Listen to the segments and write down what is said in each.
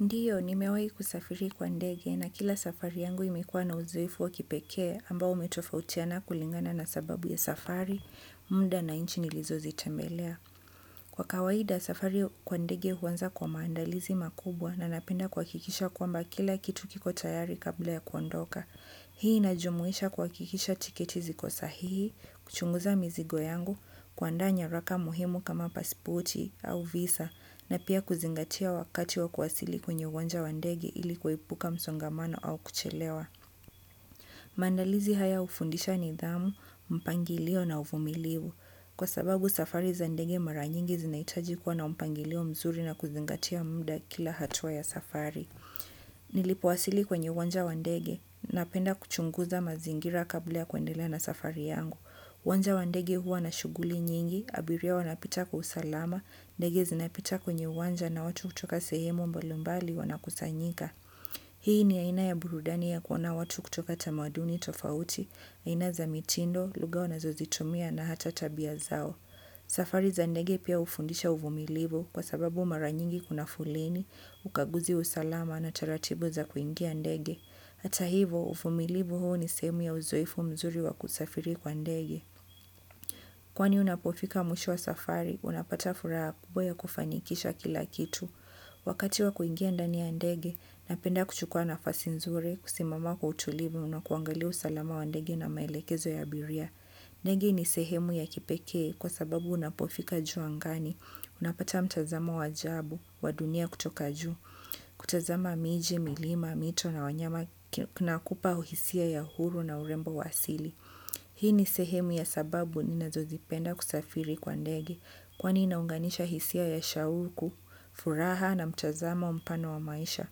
Ndio, nimewai kusafiri kwa ndege na kila safari yangu imekuwa na uzoefu wa kipekee, ambao umetofautiana kulingana na sababu ya safari, muda na inchi nilizozitembelea. Kwa kawaida, safari kwa ndege huanza kwa maandalizi makubwa na napenda kwa akikisha kwamba kila kitu kiko tayari kabla ya kuondoka. Hii inajumuisha kwa akikisha tiketi ziko sahihi, kuchunguza mizigo yangu, kuandaa nyaraka muhimu kama pasipoti au visa, na pia kuzingatia wakati wa kuwasili kwenye uwanja wa ndege ili kuepuka msongamano au kuchelewa. Maandalizi haya hufundisha nidhamu, mpangalio na uvumilivu. Kwa sababu safari za ndege mara nyingi zinahitaji kuwa na mpangilio mzuri na kuzingatia muda, kila hatua ya safari. Nilipowasili kwenye uwanja wa ndege, napenda kuchunguza mazingira kabla ya kuendelea na safari yangu. Uwanja wa ndege huwa na shughuli nyingi, abiria wanapita kwa usalama, ndege zinapita kwenye uwanja na watu kutoka sehemu mbalumbali wanakusanyika. Hii ni aina ya burudani ya kuona watu kutoka tamaduni tofauti, aina za mitindo, lugha wanazozitumia na hata tabia zao. Safari za ndege pia hufundisha uvumilivu kwa sababu, maranyingi kuna foleni, ukaguzi usalama na taratibu za kuingia ndege. Ata hivo, uvumilivu huo ni sehemu ya uzoefu mzuri wa kusafiri kwa ndege. Kwani unapofika mwisho wa safari, unapata furaha kubwa ya kufanikisha kila kitu. Wakati wa kuingia ndani ya ndege, napenda kuchukua nafasi nzuri kusimama kwa utulivu na kuangalia usalama wa ndege na maelekezo ya abiria. Ndege ni sehemu ya kipekee, kwa sababu unapofika juu angani, unapata mtazamo wa ajabu, wadunia kutoka juu, kutazama miji, milima, mito na wanyama, kinakupa uhisia ya huru na urembo wa asili. Hii ni sehemu ya sababu ni nazozipenda kusafiri kwa ndege. Kwani inaunganisha hisia ya shauku, furaha na mtazamo mpano wa maisha.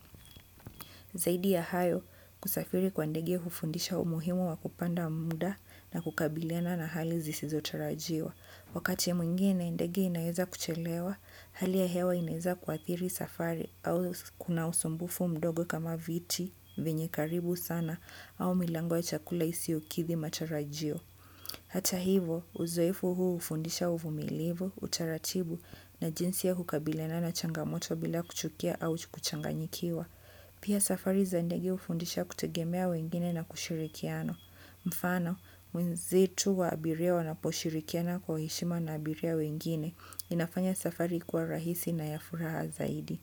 Zaidi ya hayo, kusafiri kwa ndege hufundisha umuhimu wa kupanda muda na kukabiliana na hali zisizo tarajiwa. Wakati mwingine ndege inaeza kuchelewa, hali ya hewa inaeza kuathiri safari au kuna usumbufu mdogo kama viti, vyenye karibu sana au milango ya chakula isiokithi matarajio. Hata hivo, uzoefu huu hufundisha uvumilivu, utaratibu na jinsi ya kukabiliana na changamoto bila kuchukia au kuchanganyikiwa. Pia safari za ndege hufundisha kutegemea wengine na kushirikiana. Mfano, mwenzetu wa abiria wanaposhirikiana kwa uheshima na abiria wengine, inafanya safari kuwa rahisi na ya furaha zaidi.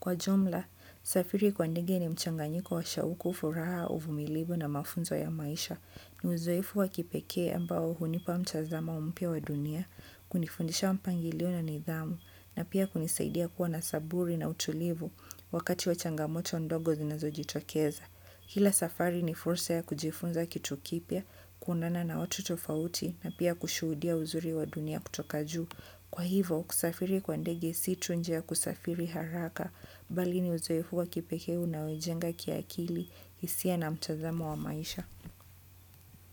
Kwa jumla, safiri kwa ndege ni mchanganyiko wa shauku, furaha, uvumilivu na mafunzo ya maisha. Ni uzoefu wa kipekee ambao, hunipa mchazamo mpya wa dunia, kunifundisha mpangilio na nidhamu, na pia kunisaidia kuwa na saburi na utulivu, wakati wa changamoto ndogo zinazo jitokeza. Kila safari ni fursa ya kujifunza kitu kipya, kuundana na watu tofauti, na pia kushuudia uzuri wa dunia kutoka juu. Kwa hivo, kusafiri kwa ndege si tu njia ya kusafiri haraka, bali ni uzoefu wa kipekee unao ijenga kia akili, hisia na mtazamo wa maisha.